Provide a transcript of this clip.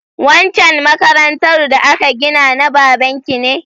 Waccan makarantar da aka ginana baban ki ne?